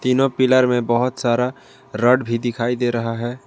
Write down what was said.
तीनों पिलर में बहोत सारा रड भी दिखाई दे रहा है।